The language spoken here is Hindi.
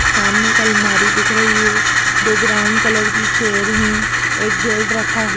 सामने एक अलमारी दिख रही है दो ब्राउन कलर की चेयर हैं एक गेट रखा हु --